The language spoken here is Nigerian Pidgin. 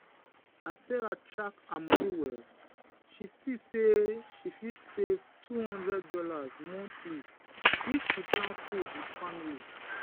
as sarah track her money well she see say she fit save $200 monthly if she plan food with family.